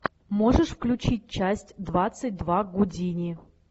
можешь включить часть двадцать два гудини